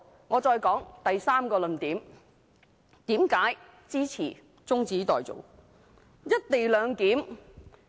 我再說第三個論點，為何支持中止待續。